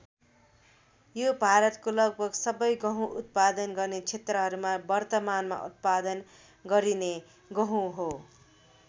यो भारतको लगभग सबै गहुँ उत्पादन गर्ने क्षेत्रहरूमा वर्तमानमा उत्पादन गरिने गहुँ हो।